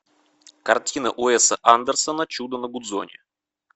картина уэса андерсона чудо на гудзоне